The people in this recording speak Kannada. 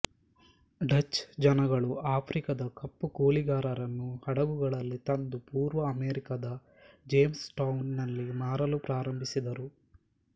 ಡಚ್ ಜನಗಳು ಆಫ್ರಿಕದ ಕಪ್ಪು ಕೂಲಿಗಾರರನ್ನು ಹಡಗುಗಳಲ್ಲಿ ತಂದು ಪೂರ್ವ ಅಮೆರಿಕದ ಜೇಮ್ಸ್ ಟೌನ್ ನಲ್ಲಿ ಮಾರಲು ಪ್ರಾರಂಭಿಸಿದರು